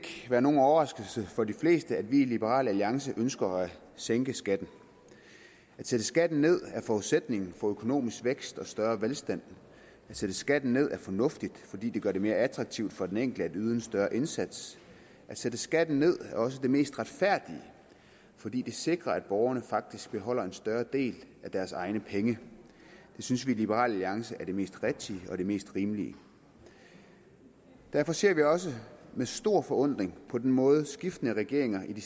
være nogen overraskelse for de fleste at vi i liberal alliance ønsker at sænke skatten at sætte skatten ned er forudsætningen for økonomisk vækst og større velstand at sætte skatten ned er fornuftigt fordi det gør det mere attraktivt for den enkelte at yde en større indsats at sætte skatten ned er også det mest retfærdige fordi det sikrer at borgerne faktisk beholder en større del af deres egne penge det synes vi i liberal alliance er det mest rigtige og det mest rimelige derfor ser vi også med stor forundring på den måde skiftende regeringer i de